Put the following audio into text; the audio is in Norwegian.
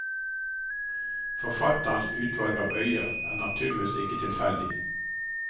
Forfatterens utvalg av øyer er naturligvis ikke tilfeldig.